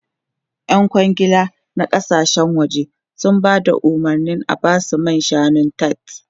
Yan kwangila na kasashen waje sun ba da umarnin a ba su wasu man shanun tart.